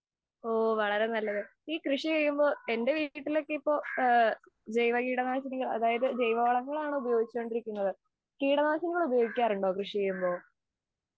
ഓ വളരെ നല്ലത്. ഈ കൃഷി ചെയ്യുമ്പോൾ എന്റെ വീട്ടിലൊക്കെ ജൈവ കീടനാശിനി അതായത് ജൈവ വളങ്ങളാണ് ഉപയോഗിച്ചുകൊണ്ടിരിക്കുന്നത്. കീടനാശിനികൾ ഉപയോഗിക്കാറുണ്ടോ കൃഷി ചെയുമ്പോൾ?